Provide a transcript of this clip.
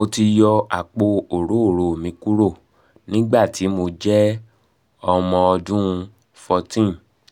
mo ti yọ apo orooro mi kuro nigbati mo jẹ ọmọ ọdun 14